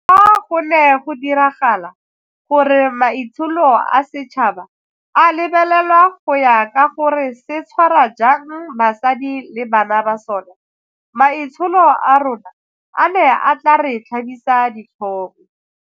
Fa go ne go diragala gore maitsholo a setšhaba a lebelelwa go ya ka gore se tshwara jang basadi le bana ba sona, maitsholo a rona a ne a tla re tlhabisa ditlhong.